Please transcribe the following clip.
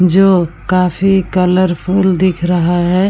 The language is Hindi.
जो काफी कलरफुल दिख रहा है ।